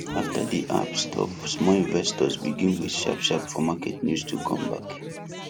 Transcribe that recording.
after the app stop small investors begin wait sharp sharp for market news to come back